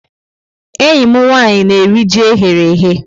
Enyi m nwanyi na-eri ji e ghere eghe.